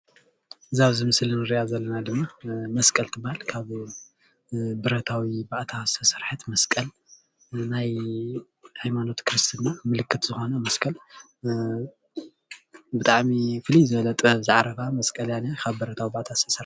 እዛ ኣብዚ ምስሊ ንርእያ ዘለና ድማ መስቀል ትባሃል ካብ ብረታዊ ባእታ ዝተሰርሐት መስቀል ናይ ሃይማኖት ክርስትና ምልክት ዝኾነ መስቀል ብጣዕሚ ፍልይ ዝበለ ጥበብ ዝዓረፋ መስቀል እያ ዝኒኣ ካብ ብረታዊ ባእታ ዝተሰረሐት